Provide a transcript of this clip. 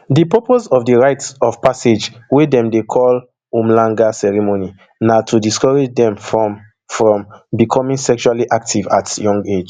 di purpose of di rite of passage wey dem dey call umhlanga ceremony na to discourage dem from from becoming sexually active at young age